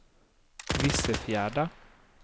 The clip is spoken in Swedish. Vissefjärda